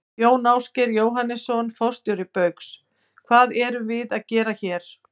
Jón Ásgeir Jóhannesson, forstjóri Baugs: Hvað erum við að gera hér?